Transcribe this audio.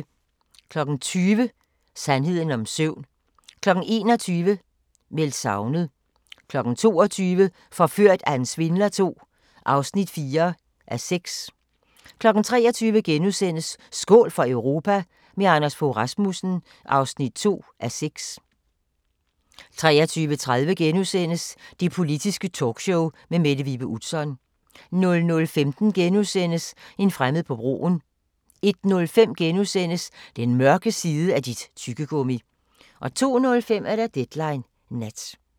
20:00: Sandheden om søvn 21:00: Meldt savnet 22:00: Forført af en svindler II (4:6) 23:00: Skål for Europa – med Anders Fogh Rasmussen (2:6)* 23:30: Det Politiske Talkshow med Mette Vibe Utzon * 00:15: En fremmed på broen * 01:05: Den mørke side af dit tyggegummi! * 02:05: Deadline Nat